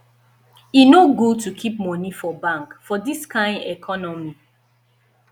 e no good to keep moni for bank for dis kain economy